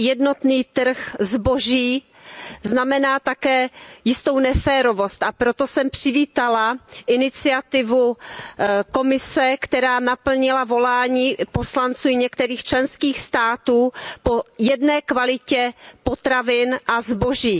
jednotný trh zboží znamená také jistou neférovost, a proto jsem přivítala iniciativu Komise, která naplnila volání poslanců i některých členských států po jedné kvalitě potravin a zboží.